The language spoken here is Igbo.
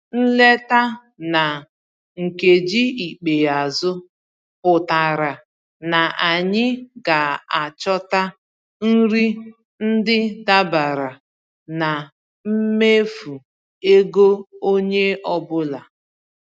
Nleta na nkeji ikpeazụ pụtara na anyị ga-achọta nri ndị dabara na mmefu ego onye ọ bụla.